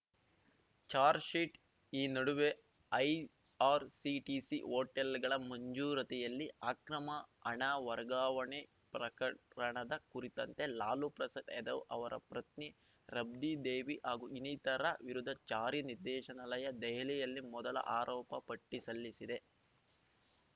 charge sheet ಈ ನಡುವೆ IRCTC ಹೋಟೆಲ್‌ಗಳ ಮಂಜೂರತಿಯಲ್ಲಿ ಅಕ್ರಮ ಹಣ ವರ್ಗಾವಣೆ ಪ್ರಕರಣದ ಕುರಿತಂತೆ ಲಾಲು ಪ್ರಸಾದ್‌ ಯಾದವ್‌ ಅವರ ಪ್ರತ್ನಿ ರಾಬ್ಡಿ ದೇವಿ ಹಾಗೂ ಇನ್ನಿತರ ವಿರುದ್ಧ ಜಾರಿ ನಿರ್ದೇಶನಾಲಯ ದೆಹಲಿಯಲ್ಲಿ ಮೊದಲ ಆರೋಪಪಟ್ಟಿಸಲ್ಲಿಸಿದೆ